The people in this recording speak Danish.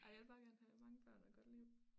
Ej jeg vil bare gerne have mange børn og et godt liv